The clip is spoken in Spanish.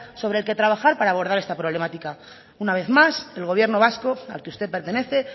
sobre el que trabajar para abordar esta problemática una vez más el gobierno vasco al que usted pertenece